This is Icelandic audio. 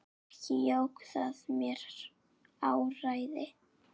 Ekki jók það mér áræði.